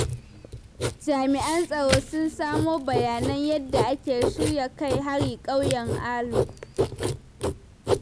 Jami'an tsaro sun samo bayanan yadda ake shirya kai hari ƙauyen Alu.